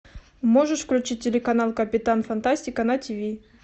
можешь включить телеканал капитан фантастика на тв